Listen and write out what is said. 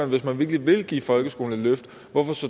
hvis man virkelig vil give folkeskolen et løft hvorfor